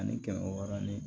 Ani kɛmɛ wɔɔrɔnanin